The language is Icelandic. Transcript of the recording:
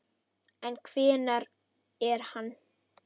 En hver er hann?